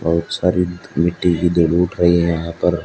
बहुत सारी मिट्टी की दो रुट है यहां पर--